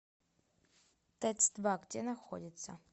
тэц два где находится